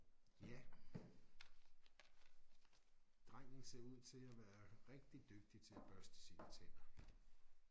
Ja drengen ser ud til at være rigtig dygtig til at børste sine tænder